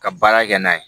Ka baara kɛ n'a ye